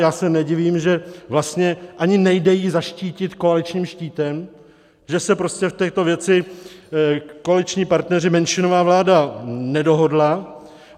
Já se nedivím, že vlastně ani nejde ji zaštítit koaličním štítem, že se prostě v této věci koaliční partneři, menšinová vláda nedohodla.